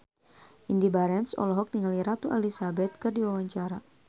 Indy Barens olohok ningali Ratu Elizabeth keur diwawancara